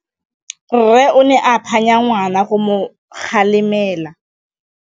Rre o ne a phanya ngwana go mo galemela.